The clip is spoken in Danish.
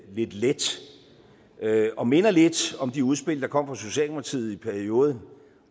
lidt let og minder lidt om de udspil der kom fra socialdemokratiet i perioden